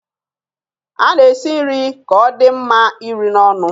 A na-esi nri ka ọ dị mma iri n'ọnụ.